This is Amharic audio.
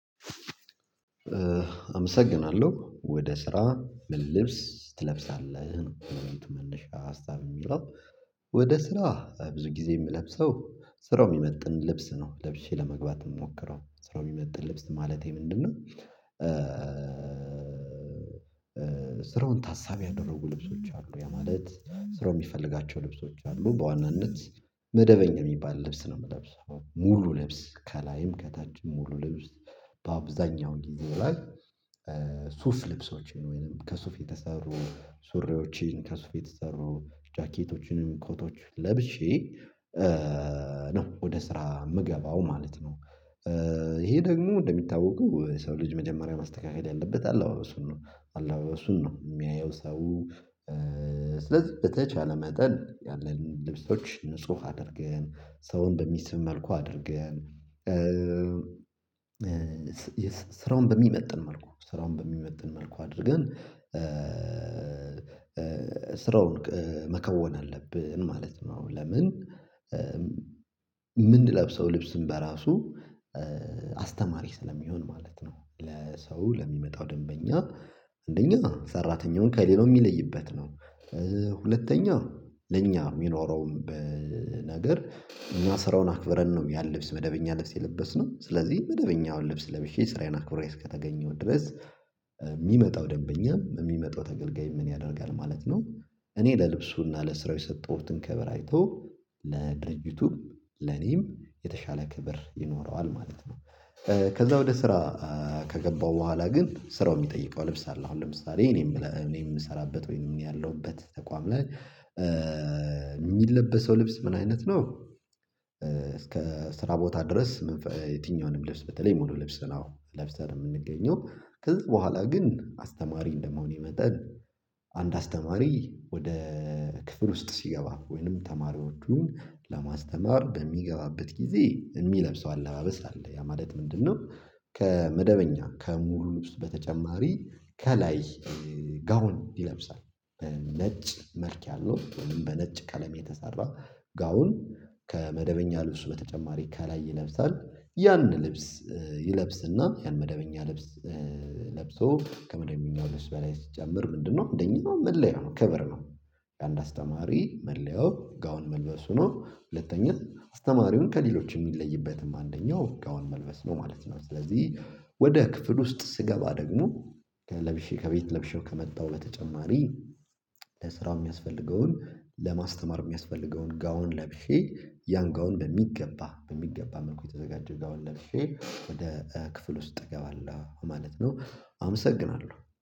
አመሰግናለሁ። ወደ ስራ ምን ልብስ ትለብሳለህ መነሽ ሀሳብ የሚለው። ወደ ስራ ብዙ ጊዜ የምለብሰው ስራው የሚመጥን ልብስ ነው ለብሼ ለመግባት የሚሞክረው። ስራው የሚመጥን ልብስ ማለቴ ምንድነው ስራውን ታሳቢ ያደረጉ ልብሶች አሉ። ያ ማለት ስራው የሚፈልጋቸው ልብሶች አሉ። በዋናነት መደበኛ የሚባል ልብስ ነው የምለብሰው። ሙሉ ልብስ ከላይም ከታችም ሙሉ ልብስ። በአብዛኛው እንዲህ ላይ ሱፍ ልብሶችን ወይንም ከሱፍ የተሰሩ ሱሬዎችን ከሱፍ የተሰሩ ጃኬቶችንም ኮቶች ለብሼ ነው ወደ ስራ የምገባው ማለት ነው። ይሄ ደግሞ እንደሚታወቀው ሰው ልጅ መጀመሪያ ማስተካከል ያለበት አለባበሱን ነው። አለባበሱን ነው የሚያየው ሰው ስለዚህ በተቻለ መጠን ያለን ልብሶች ንጹህ አድርገን ሰውን በሚስብ መልኩ አድርገን ስራውን በሚመጥን መልኩ ስራውን በሚመጥን መልኩ አድርገን ስራውን መከወን አለብን ማለት ነው። ለምን የምንለብሰው ልብስም በራሱ አስተማሪ ስለሚሆን ማለት ነው። ለሰው ለሚመጣው ደንበኛ አንደኛ ሰራተኛውን ከሌለው የሚለይበት ነው። ሁለተኛ ለኛ የሚኖረውም በነገር እና ስራውን አክብረን ነው ያል ልብስ መደበኛ ልብስ የለበስነው ስለዚህ መደበኛውን ልብስ ለብሼ ስራዬን አክብሬ እስከተገኘው ድረስ የሚመጣው ደንበኛ የሚመጣው ተገልጋይ ምን ያደርጋል ማለት ነው እኔ ለልብሱና ለስራው የሰጠሁትን ክብር አይቶ ለድርጅቱ ለኔም የተሻለ ክብር ይኖረዋል ማለት ነው። ከዛ ወደ ስራ ከገባው በኋላ ግን ስራው የሚጠይቀው ልብስ አለ። አሁን ለምሳሌ እኔ የምሰራበት ወይንም ያለውበት ተቋም ላይ የሚለበሰው ልብስ ምን አይነት ነው እስከ ስራ ቦታ ድረስ የትኛውንም ልብስ በተለይ ሙሉ ልብስ ነው ለብሰን የምንገኘው። ከዚህ በኋላ ግን አስተማሪ እንደማሄኔ የመጠን አንድ አስተማሪ ወደ ክፍል ውስጥ ሲገባ ወይንም ተማሪዎቹን ለማስተማር በሚገባበት ጊዜ የሚለብሰው አለባበስ አለ። ያ ማለት ምንድነው ከመደበኛ ከሙሉ ልብስ በተጨማሪ ከላይ ጋውን ይለብሳል። ነጭ መልክ ያለው በነጭ ቀለም የተሰራ ጋውን ከመደበኛ ልብስ በተጨማሪ ከላይ ይለብሳል። ያን ልብስ ይለብስና ያን መደበኛ ለብሶ ከመደበኛው ልብስ በላይ ስትጨምር ምንድነው እንደኛው መለያ ነው ክብር ነው። አንድ አስተማሪ መለያው ጋውን መልበሱ ነው። ሁለተኛ አስተማሪውን ከሌሎች የሚለይበትም አንደኛው ጋውን መልበስ ነው ማለት ነው። ስለዚህ ወደ ክፍል ውስጥ ስገባ ደግሞ ከለብሼ ከቤት ለብሼው ከመጣው በተጨማሪ ለስራው የሚያስፈልገውን ለማስተማር የሚያስፈልገውን ጋውን ለብሼ ያን ጋውን በሚገባ በሚገባ መልኩ የተዘጋጀ ጋውን ለብሼ ወደ ክፍል ውስጥ እገባለሁ ማለት ነው አመሰግናለሁ።